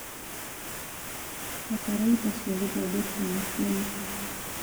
Bataraitha cia gũthondekwo na kĩmĩko